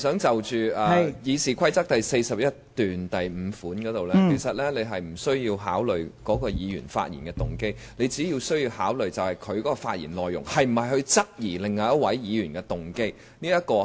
就《議事規則》第415條來說，其實你不需要考慮該議員的發言動機，你只需要考慮他發言的內容是否質疑另一位議員的動機。